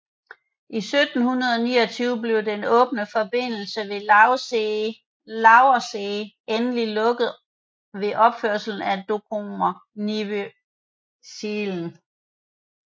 I 1729 blev den åbne forbindelse med Lauwerszee endelig lukket ved opførelsen af Dokkumer Nieuwe Zijlen